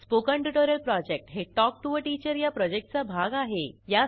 spoken tutorial project हे talk to teacher या प्रॉजेक्टचा भाग आहे